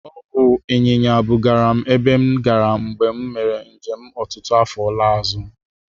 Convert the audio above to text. Ọ bụ ịnyịnya bugara m ebe m gara mgbe m mere njem ọtụtụ afọ laa azụ.